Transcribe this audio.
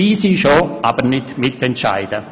Sie können dabei sein, aber nicht mitentscheiden.